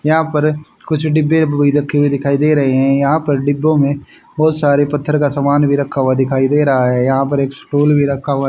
यहां पर कुछ डिब्बे भी रखे हुए दिखाई दे रे है यहां पर डिब्बों में बहोत सारे पत्थर का सामान भी रखा हुआ दिखाई दे रहा है यहां पर एक स्टूल भी रखा हुआ--